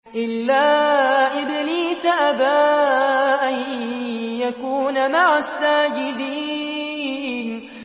إِلَّا إِبْلِيسَ أَبَىٰ أَن يَكُونَ مَعَ السَّاجِدِينَ